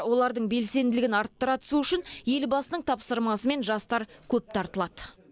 олардың белсенділігін арттыра түсу үшін елбасының тапсырмасымен жастар көп тартылады